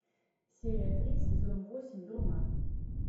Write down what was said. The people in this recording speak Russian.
серия три сезон восемь дурман